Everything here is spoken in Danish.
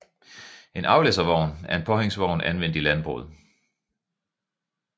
En aflæsservogn er en påhængsvogn anvendt i landbruget